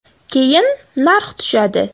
Keyin narx tushadi.